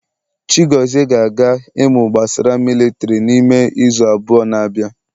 Chigozie ga-aga imu gbasara militiri n'ime izu abụọ na bia